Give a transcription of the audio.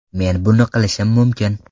Men buni qilishim mumkin.